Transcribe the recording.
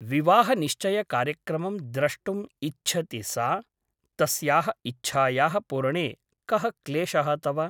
विवाहनिश्चयकार्यक्रमं द्रष्टुम् इच्छति सा । तस्याः इच्छायाः पूरणे कः क्लेशः तव ?